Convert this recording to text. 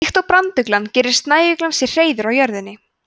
líkt og branduglan gerir snæuglan sér hreiður á jörðinni